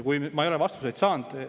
Ma ei ole vastuseid saanud.